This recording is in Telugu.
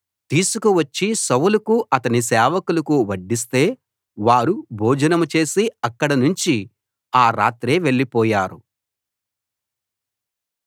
తీసుకువచ్చి సౌలుకు అతని సేవకులకు వడ్డిస్తే వారు భోజనం చేసి అక్కడి నుంచి ఆ రాత్రే వెళ్లిపోయారు